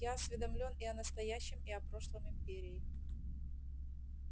я осведомлён и о настоящем и о прошлом империи